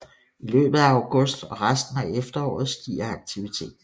I løbet af august og resten af efteråret stiger aktiviteten